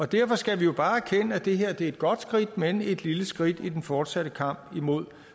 derfor skal vi jo bare erkende at det her er et godt men lille skridt i den fortsatte kamp imod